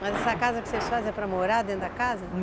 Mas essa casa que vocês fazem é para morar dentro da casa?